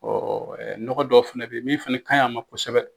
Ɔ nɔgɔ dɔ fana bɛ yen min fana ka ɲi a ma kosɛbɛ